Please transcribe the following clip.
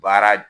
Baara